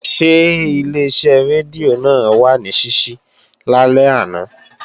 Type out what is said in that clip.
Ṣé Ileṣẹ́ rédíò náà wà ní ṣíṣí lálẹ́ àná?